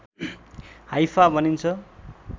Haifa भनिन्छ